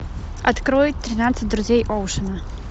открой тринадцать друзей оушена